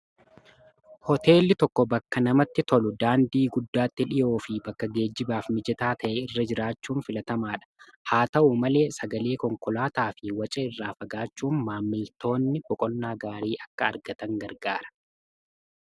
hooteelli tokko bakka namatti tolu daandii guddaatti dhiyoo fi bakka geejjibaaf mijataa ta'e irra jiraachuun filatamaa dha haa ta'u malee sagalee konkolaataa fi wacee irraafagaachuun maammiltoonni boqonnaa gaarii akka argatan gargaara